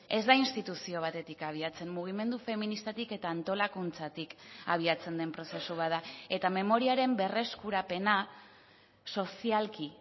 ez da instituzio batetik abiatzen mugimendu feministatik eta antolakuntzatik abiatzen den prozesu bat da eta memoriaren berreskurapena sozialki